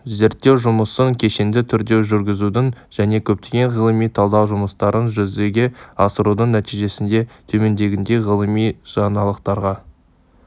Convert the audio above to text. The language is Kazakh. зерттеу жұмысын кешенді түрде жүргізудің және көптеген ғылыми талдау жұмыстарын жүзеге асырудың нәтижесінде төмендегідей ғылыми жаңалықтарға